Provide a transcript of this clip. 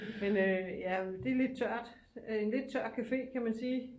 Men øh det er lidt tørt en lidt tør café kan man sige